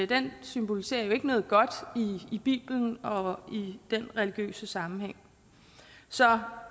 den symboliserer jo ikke noget godt i biblen og i den religiøse sammenhæng så